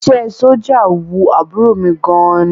Iṣẹ́ ẹ sójà wu àbúrò mi gan ni